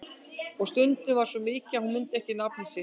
Og stundum var svo komið að hún mundi ekki nafnið sitt.